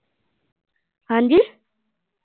ਹਾਂ ਜੀ।